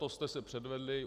To jste se předvedli!